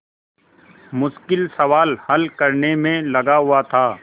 मुश्किल सवाल हल करने में लगा हुआ था